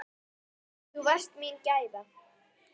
Þú varst mín gæfa.